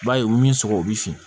I b'a ye u bi min sɔgɔ u bi fin